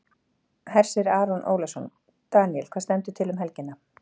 Hersir Aron Ólafsson: Daníel, hvað stendur til um helgina?